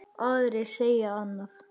Aðrir segja annað.